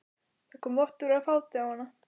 Það kom vottur af fáti á hana.